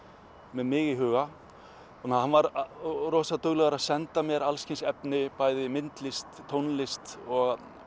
með mig í huga þannig að hann var rosa duglegur að senda mér alls kyns efni bæði myndlist tónlist og